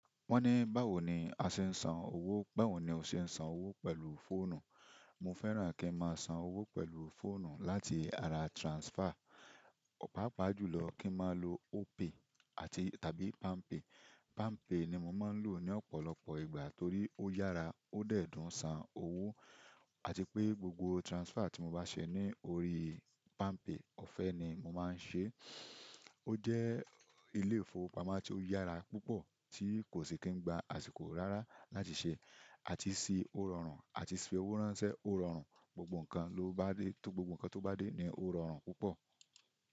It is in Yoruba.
Wọ́n ní báwo ni a ṣe ń san owó, báwo ní o ṣe ń san owó pẹ̀lú fóònù. Mo fẹ́ràn kí n máa san owó pẹ̀lú fóònù láti ara transfer. Páàpáà jùlọ kí n máa lo Opay àti tàbí PalmPay. PalmPay ni mo máa ń lò ní ọ̀pọ̀lọpọ̀ ìgbà torí ó yára, ó dẹ̀ dùn san owó àti pé gbogbo transfer tí mo bá ṣe ní orí PalmPay ọ̀fẹ́ ni mo máa ń ṣe. Ó jẹ́ ilé-ìfowópamọ́ tí ó yára púpọ̀ tí kò sì kí n gba àsìkò rárá láti ṣe àti sí ó rọrùn àti sí fi owó ránṣẹ́ ó rọrùn, gbogbo nǹkan tó bá dé ní ó rọrùn púpọ̀.